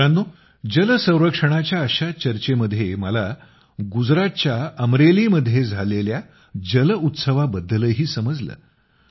मित्रांनो जल संरक्षणाच्या अशाच चर्चेमध्ये मला गुजरातच्या अमरेलीमध्ये झालेल्या जलउत्सवाबद्दलही समजलं